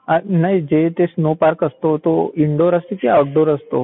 नाही ते जस स्नो पार्क असतो तो इनडोअर असतो की आऊटडोअर असतो?